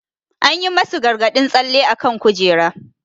An yi masu gargadin tsalle akan kujera.